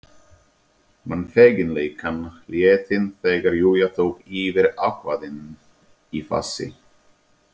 Man feginleikann, léttinn, þegar Júlía tók yfir ákveðin í fasi.